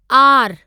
R